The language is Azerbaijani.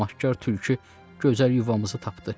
tamahkar tülkü gözəl yuvamızı tapdı.